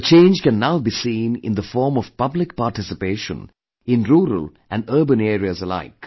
A change can now be seen in the form of public participation in rural and urban areas alike